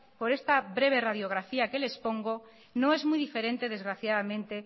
por esta breve radiografía que le expongo no es muy diferente desgraciadamente